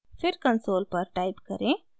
फिर कंसोल पर टाइप करें: